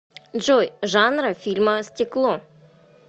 джой жанра фильма стекло